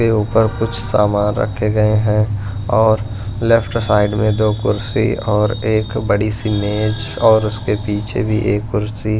के ऊपर कुछ सामान रखे गए हैं और लेफ्ट साइड में दो कुर्सी और एक बड़ी सी मेज और उसके पीछे भी एक कुर्सी--